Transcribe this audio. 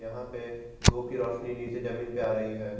यहां पे धूप की रोशनी नीचे जमीन पे आ रही है।